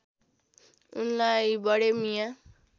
उनलाई बडे मिया